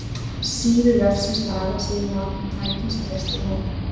Síður vefsins laga sig nú að þeim tækjum sem gestir nota.